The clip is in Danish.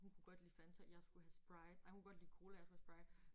Hun kunne godt lide Fanta jeg skulle have Sprite ej hun kunne godt lide Cola jeg skulle have Sprite